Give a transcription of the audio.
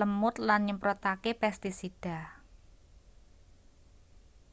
lemut lan nyemprotake pestisida